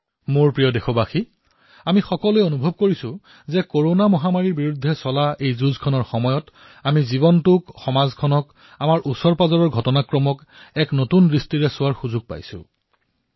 মোৰ মৰমৰ দেশবাসীসকল আমি সকলোৱে অনুভৱ কৰিছো যে মহামাৰীৰ বিৰুদ্ধে এই যুদ্ধত আমাৰ জীৱনক সমাজক আমাৰ আশেপাশে ঘটি থকা ঘটনাসমূহক এক সতেজ দৃষ্টিকোণেৰে প্ৰত্যক্ষ কৰাৰ অৱকাশ লাভ কৰিছো